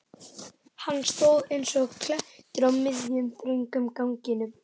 Hann stóð eins og klettur á miðjum, þröngum ganginum.